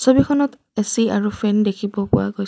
ছবিখনত এ_চি আৰু ফেন দেখিব পোৱা গৈ--